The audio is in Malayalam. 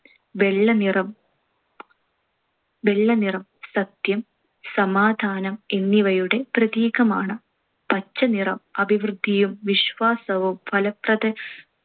വെള്ളനിറം~ വെള്ളനിറം സത്യം, സമാധാനം എന്നിവയുടെ പ്രതീകമാണ്. പച്ചനിറം അഭിവൃദ്ധിയും വിശ്വാസവും ഫലപ്രദ